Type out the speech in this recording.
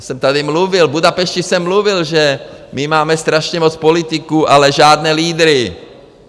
Já jsem tady mluvil, v Budapešti jsem mluvil, že my máme strašně moc politiků, ale žádné lídry.